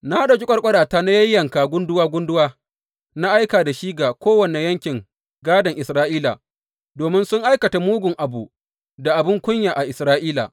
Na ɗauki ƙwarƙwarata na yayyanka gunduwa gunduwa na aika da shi ga kowane yankin gādon Isra’ila, domin sun aikata mugu abu da abin kunya a Isra’ila.